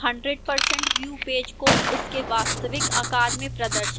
100% view page को उसके वास्तविक आकार में प्रदर्शित करेगा